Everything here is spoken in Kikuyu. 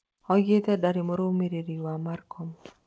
Oigĩte "ndĩrarĩ mũrũmĩrĩri wa Marcon"